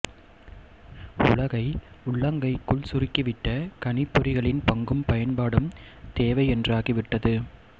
உலகை உள்ளங்கைக்குள் சுருக்கிவிட்ட கணிப்பொறிகளின் பங்கும் பயன்பாடும் தேவை என்றாகி விட்டது